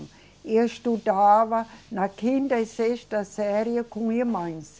E eu estudava na quinta e sexta série com irmãs.